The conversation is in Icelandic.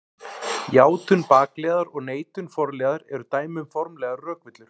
Játun bakliðar og neitun forliðar eru dæmi um formlegar rökvillur.